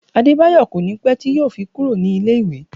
Adebayo kò ní pé tí yo fi kúrò ní ilé ìwé